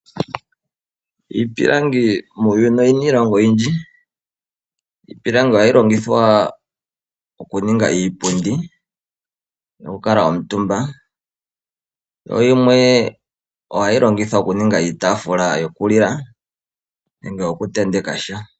Iipilangi muuyuni oyina iilonga oyindji. Iipilangi ohayi longithwa okuninga iipundi noku kuutumba ,yo yimwe ohayi longithwa oku ninga iitaafula yokulila nenge yo ku tenteka sha.